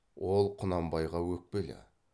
ол құнанбайға өкпелі